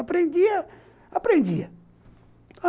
Aprendia, aprendia.